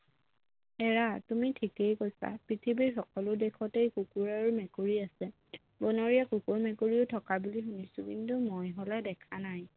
এৰা তুমি ঠিকেই কৈছা পৃথিৱীৰ সকলো দেশতেই কুকুৰ আৰু মেকুৰী আছে বনৰীয়া কুকুৰ মেকুৰীও থকা বুলি শুনিছোঁ কিন্তু মই হলে দেখা নাই